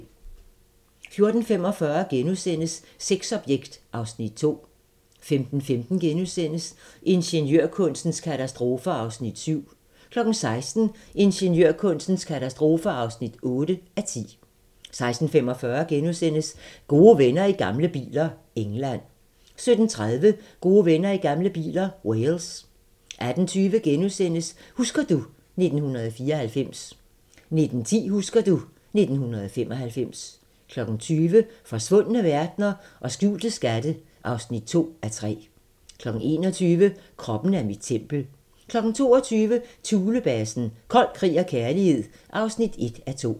14:45: Sexobjekt (Afs. 2)* 15:15: Ingeniørkunstens katastrofer (7:10)* 16:00: Ingeniørkunstens katastrofer (8:10) 16:45: Gode venner i gamle biler - England * 17:30: Gode venner i gamle biler - Wales 18:20: Husker du ... 1994 * 19:10: Husker du ... 1995 20:00: Forsvundne verdener og skjulte skatte (2:3) 21:00: Kroppen er mit tempel 22:00: Thulebasen - kold krig og kærlighed (1:2)